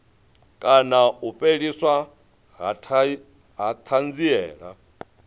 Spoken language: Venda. kana u fheliswa ha thanziela